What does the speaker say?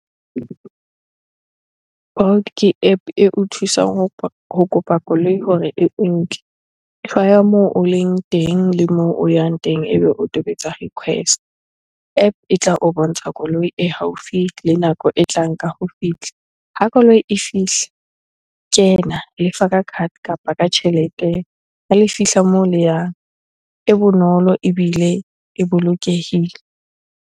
Bolt ke App eo thusang ho kopa koloi hore e nke. Hlwaya moo o leng teng le moo o yang teng, ebe o tobetsa request. App e tla o bontsha koloi e haufi le nako e tlang ka ho fihla. Ha koloi e fihla, kena. Lefa ka card kapa ka tjhelete ha le fihla moo le yang. E bonolo ebile e bolokehile.